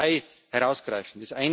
Ich möchte nur zwei herausgreifen.